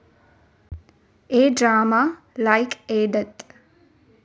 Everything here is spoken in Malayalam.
A drama like a death